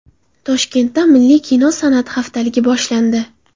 Toshkentda milliy kino san’ati haftaligi boshlandi.